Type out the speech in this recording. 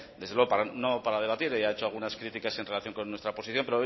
desde luego no para debatir ha hecho algunas críticas en relación con nuestra posición